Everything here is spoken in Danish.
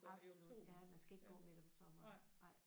Absolut ja man skal ikke gå midt om sommeren nej